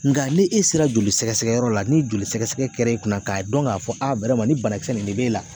Nka ne e sera joli sɛgɛsɛgɛyɔrɔ la ni joli sɛgɛsɛgɛ kɛr'e kunna k'a dɔn k'a fɔ nin banakisɛ ne de b'e la